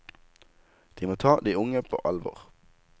De må ta de unge på alvor.